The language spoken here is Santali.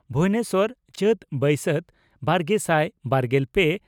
ᱵᱷᱩᱵᱚᱱᱮᱥᱚᱨ ᱪᱟᱹᱛᱼᱵᱟᱹᱭᱥᱟᱹᱛ, ᱵᱟᱨᱜᱮᱥᱟᱭ ᱵᱟᱨᱜᱮᱞ ᱯᱮ